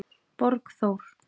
Borgþór